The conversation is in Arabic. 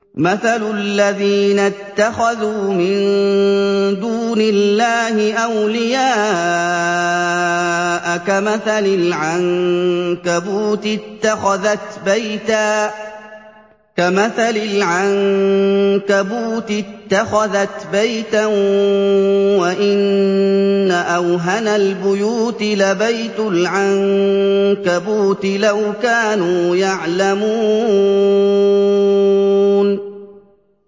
مَثَلُ الَّذِينَ اتَّخَذُوا مِن دُونِ اللَّهِ أَوْلِيَاءَ كَمَثَلِ الْعَنكَبُوتِ اتَّخَذَتْ بَيْتًا ۖ وَإِنَّ أَوْهَنَ الْبُيُوتِ لَبَيْتُ الْعَنكَبُوتِ ۖ لَوْ كَانُوا يَعْلَمُونَ